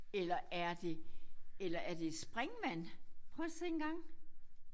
Eller er det eller er det et springvand prøv at se engang